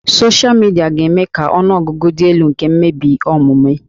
Soshịa midia ga-eme ka ọnụ ọgụgụ dị elu nke mmebi omume